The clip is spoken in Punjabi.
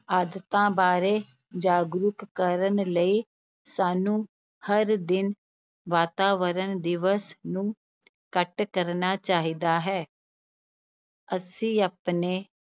ਆਦਤਾਂ ਬਾਰੇ ਜਾਗਰੂਕ ਕਰਨ ਲਈ, ਸਾਨੂੰ ਹਰ ਦਿਨ ਵਾਤਾਵਰਨ ਦਿਵਸ ਨੂੰ ਘੱਟ ਕਰਨਾ ਚਾਹੀਦਾ ਹੈ ਅਸੀਂ ਆਪਣੇ